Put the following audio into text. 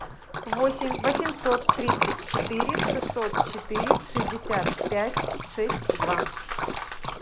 восемь восемьсот тридцать четыре шестьсот четыре шестьдесят пять шесть два